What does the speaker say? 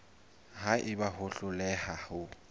ha eba o hloleha ho